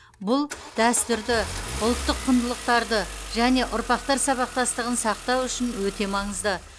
бұл дәстүрді ұлттық құндылықтарды және ұрпақтар сабақтастығын сақтау үшін өте маңызды